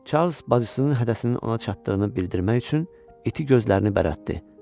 Çarlz bacısının hədəsinin ona çatdığını bildirmək üçün iti gözlərini bərətdi.